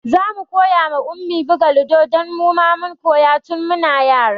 Zamu koya wa Ummi buga lido don muma mun koya tun muna yara